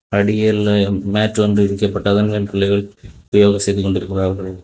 அடியல்ல mat வந்து விறிக்க பட்டு அதன் மேல சில பேர் யோகா செய்து கொண்டிருக்கிறார்கள்.